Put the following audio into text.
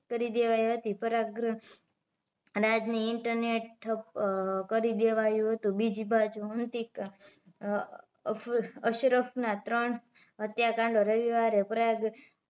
કરી દેવાઇ હતી પ્રયાગરાજ ઇન્ટરનેટ ઠપ કરી દેવાયું હતું બીજી બાજુ અતિક અફ અશરફ ના ત્રણ હત્યાકાંડ રવિવારે પ્રયાગ